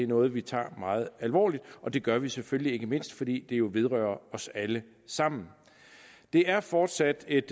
noget vi tager meget alvorligt og det gør vi jo selvfølgelig ikke mindst fordi det jo vedrører os alle sammen det er fortsat et